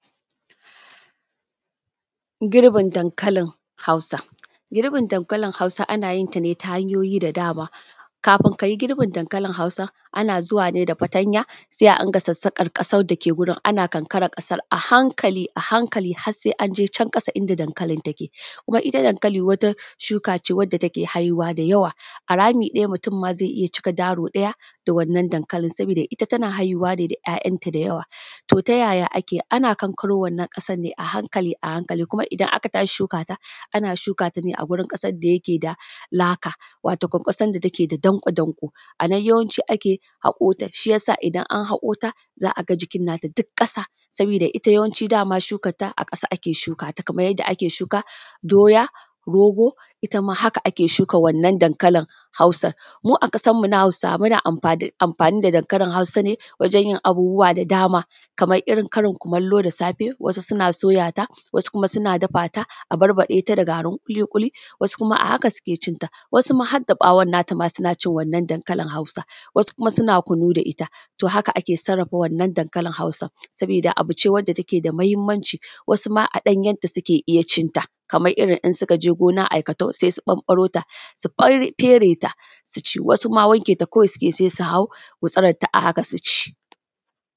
Girbin dankalin hausa, girbin dankalin hausa ana yin ta ne ta hanyoyi da dama, kafin ka yi girbin dankalin hausa ana zuwa ne da fatanya sai adinga sassaƙar ƙasan dake wurin ana kankarar ƙasan a hankali a hankali har sai an je can ƙasa inda dankalin take. Kuma ita dankali wata shuka ce wanda take haihuwa da yawa a rami ɗaya mutum zai iya cika daro ɗaya da wannan dankalin saboda ita tana haihuwa ne da 'ya'yanta dayawa. To ta yaya ake, ana kankaro wannan ƙasar ne a hankali a hankali, kuma idan aka tashi shukaa ta ana shukaa ta ne a wurin ƙasar da ta ke da laka wato ƙasan da take da danƙo-danƙo anan yawanci ake haƙoo ta shiyasa idan an haƙoota za a ga jikin naa ta duk ƙasa sabooda ita dama shukatta a ƙasa ake shuka ta kamar yadda ake shuka doya, rogo itama haka ake shuka wannan dankalin hausa. Mu a ƙasar mu na hausawa muna amfaani da dankalin hausa ne wajen yin abubuwa da dama kamar irin karin kumallo da safe wasu suna soyaa ta wasu kuma suna dafa ta a barbaɗeeta da garin ƙuli ƙuli wasu kuma a haka suke cin ta wasu ma har da ɓawon na ta ma suna cin wannan dankalin hausa wasu kuma suna kunu da ita to haka ake sarrafa wannan dankalin hausan sabooda ce wanda take da muhimmanci wasu ma a ɗanyenta suke iya cin ta kamar irin in su ka je gona aikatau sai su ɓamɓaro ta su fere ta su ci wasu ma wanke ta kawai suke yi sai su hau gutsurarta a haka su ci